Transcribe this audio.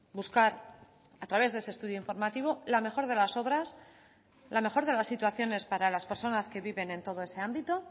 buscar a través de ese estudio informativo la mejor de las obras la mejor de las situaciones para las personas que viven en todo ese ámbito